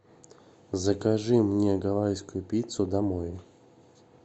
закажи мне гавайскую пиццу домой